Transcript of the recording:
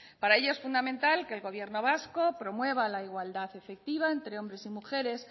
para ello es fundamental que el gobierno vasco promueva la igualdad efectiva entre hombres y mujeres